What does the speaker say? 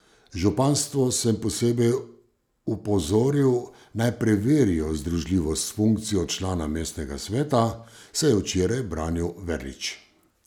Županstvo sem posebej opozoril, naj preverijo združljivost s funkcijo člana mestnega sveta, se je včeraj branil Verlič.